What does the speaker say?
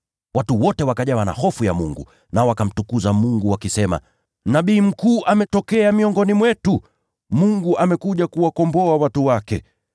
Watu wote wakajawa na hofu ya Mungu, nao wakamtukuza Mungu wakisema, “Nabii mkuu ametokea miongoni mwetu, Mungu amekuja kuwakomboa watu wake.”